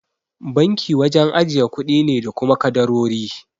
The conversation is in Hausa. Banki wajen ajiye kuɗi ne da kuma kadarori.